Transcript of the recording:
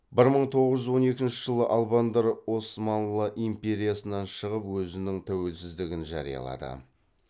бір мың тоғыз жүз он екінші жылы албандар османлы империясынан шығып өзінің тәуелсіздігін жариялады